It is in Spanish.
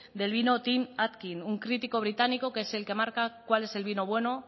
del vino tim atkin un crítico británico que es el que marca cuál es el vino bueno